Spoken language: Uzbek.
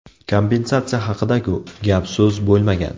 Kompensatsiya haqida-ku gap-so‘z bo‘lmagan.